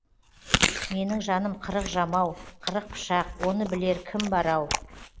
менің жаным қырық жамау қырық пышақ оны білер кім бар ау